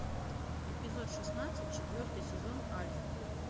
эпизод шестнадцать четвертый сезон альф